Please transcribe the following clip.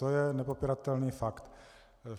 To je nepopiratelný fakt.